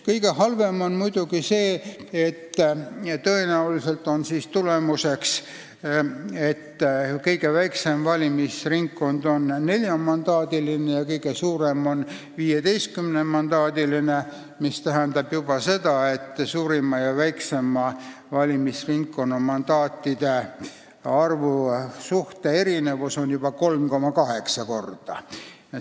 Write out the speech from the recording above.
Kõige halvem on muidugi see, kui on tulemuseks, et kõige väiksem valimisringkond on neljamandaadiline ja kõige suurem on 15-mandaadiline, mis tähendab seda, et suurima ja väikseima valimisringkonna mandaatide arv erineb juba 3,8 korda.